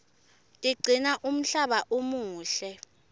tigcina umhlaba umuhle